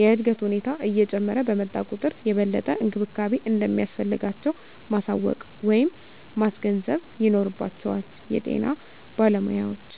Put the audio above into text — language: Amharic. የእድገት ሁኔታ እየጨመረ በመጣ ቁጥር የበለጠ እንክብካቤ እንደሚያስፈልጋቸው ማሳወቅ ወይም ማስገንዘብ ይኖርባቸዋል የጤና ባለሞያዎች።